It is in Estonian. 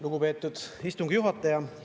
Lugupeetud istungi juhataja!